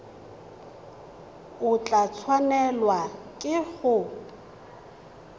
o tla tshwanelwa ke go